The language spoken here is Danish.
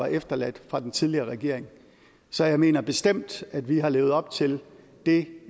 efterladt af den tidligere regering så jeg mener bestemt at vi har levet op til det